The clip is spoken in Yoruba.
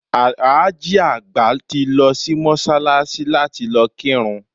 Alhaji àgbà ti lo sí Mósálasí láti lo kírun